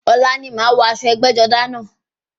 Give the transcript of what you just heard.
Ọ̀la ni màá wọ aṣọ ẹgbẹ́-jọdá náà.